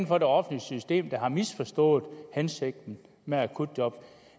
for det offentlige system der har misforstået hensigten med akutjob